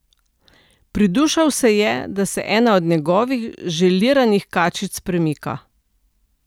Pridušal se je, da se ena od njegovih želiranih kačic premika.